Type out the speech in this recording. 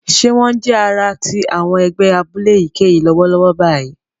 Ṣe wón jẹ ará ti àwọn ègbé abúlé èyíkéyìí lọwọlọwọ báyìí?